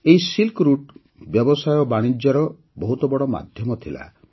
ଏହି silk route ବ୍ୟବସାୟ ବାଣିଜ୍ୟର ବହୁତ ବଡ଼ ମାଧ୍ୟମ ଥିଲା